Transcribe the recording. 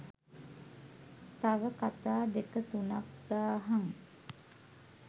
තව කතා දෙක තුනක් දාහං